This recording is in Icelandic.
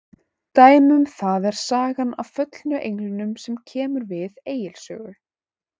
Dæmi um það er sagan af föllnu englunum sem kemur við Egils sögu.